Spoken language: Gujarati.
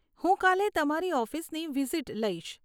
હું કાલે તમારી ઓફિસની વિઝિટ લઇશ.